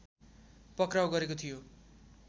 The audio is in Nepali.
पक्राउ गरेको थियो